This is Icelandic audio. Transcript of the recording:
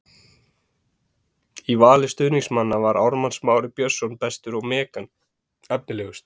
Í vali stuðningsmanna var Ármann Smári Björnsson bestur og Megan efnilegust.